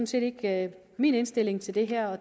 set ikke min indstilling til det her og